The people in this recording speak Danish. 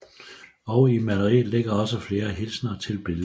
Og i maleriet ligger også flere hilsener til billedhuggeren